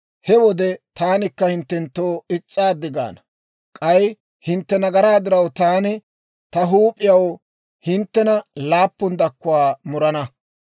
he wode taanikka hinttenttoo is's'aaddi gaana; k'ay hintte nagaraa diraw taani ta huup'iyaw hinttena laappun dakkuwaa murana.